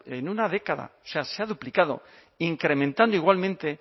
en una década o sea se ha duplicado incrementando igualmente